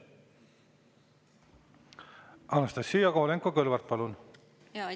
Anastassia Kovalenko-Kõlvart, palun!